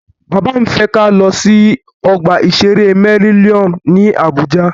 Bàbá mí fẹ́ kí a lọ sí ọgbà ìṣere Mellinnium ní Àbújá.